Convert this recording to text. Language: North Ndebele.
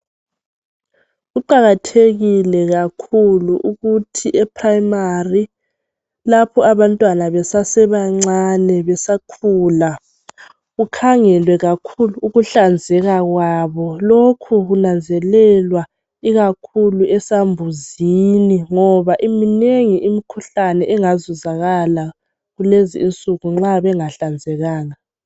Kuqakathekile kakhulu ukuthi eprayimari lapho abantwana besasebancane besakhula kukhangelwe kakhulu ukuhlanzeka kwabo lokhu kunanzelelwa ikakhulu esambuzini ngoba iminengi imikhuhlane engazuzakala kulezi insuku nxa bengahlanzekanga.